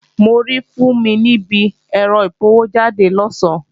Mo rí Fúnmi níbi ẹ̀rọ apọwójáde lọ̀sán